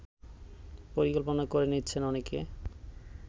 পরিকল্পনা করে নিচ্ছেন অনেকে